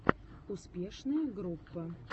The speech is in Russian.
успешная группа